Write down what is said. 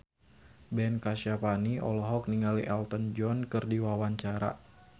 Ben Kasyafani olohok ningali Elton John keur diwawancara